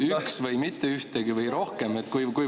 Üks või mitte ühtegi või rohkem?